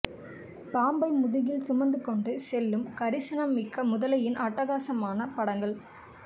பாம்பை முதுகில் சுமந்து கொண்டு செல்லும் கரிசனம் மிக்க முதலையின் அட்டகாசமான படங்கள்